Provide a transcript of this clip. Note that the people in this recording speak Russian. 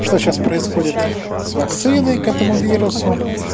что сейчас происходит с вакциной к этому вирусу